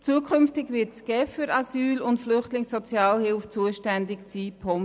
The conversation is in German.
Zukünftig wird die GEF für die Sozialhilfe für Flüchtlinge und Asylsuchende zuständig sein.